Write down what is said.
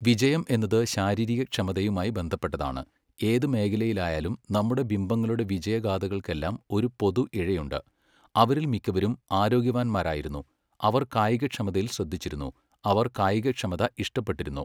വിജയം എന്നത് ശാരീരികക്ഷമതയുമായി ബന്ധപ്പെട്ടതാണ്, ഏത് മേഖലയിലായാലും നമ്മുടെ ബിംബങ്ങളുടെ വിജയഗാഥകൾക്കെല്ലാം ഒരു പൊതു ഇഴയുണ്ട്, അവരിൽ മിക്കവരും ആരോഗ്യവാന്മാരായിരുന്നു, അവർ കായികക്ഷമതയിൽ ശ്രദ്ധിച്ചിരുന്നു, അവർ കായികക്ഷമത ഇഷ്ടപ്പെട്ടിരുന്നു.